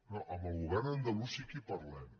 no amb el govern andalús sí que hi parlem